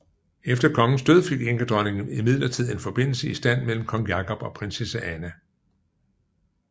Efter kongens død fik enkedronningen imidlertid en forbindelse i stand mellem kong Jakob og prinsesse Anna